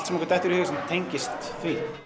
sem okkur dettur í hug sem að tengist því